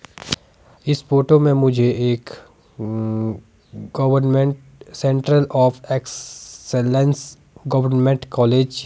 इस फोटो में मुझे एक uh government central of excellence government college --